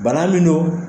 Bana min don